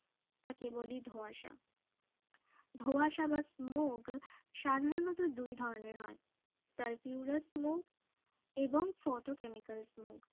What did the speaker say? তাকেবলি ধোঁয়াশা ধোঁয়াশা বা smoke সাধারণত দুই ধরনের হয় talpura smog এবং photochemical smoke